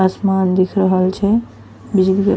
आसमान दिख रहल छय बिजली --